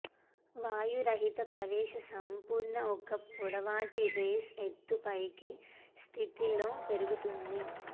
వాయురహిత ప్రవేశ సంపూర్ణ ఒక పొడవాటి రేస్ ఎత్తుపైకి స్థితిలో పెరుగుతుంది